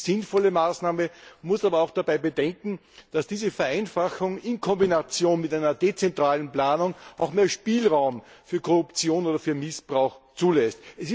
Das ist eine sinnvolle Maßnahme, man muss dabei aber auch bedenken, dass diese Vereinfachung in Kombination mit einer dezentralen Planung auch mehr Spielraum für Korruption oder Missbrauch zulässt.